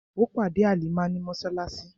Ó pàdé Halimah ní mọ́ṣáláṣí.